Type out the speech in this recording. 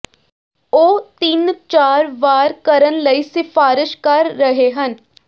ਉਹ ਤਿੰਨ ਚਾਰ ਵਾਰ ਕਰਨ ਲਈ ਸਿਫਾਰਸ਼ ਕਰ ਰਹੇ ਹਨ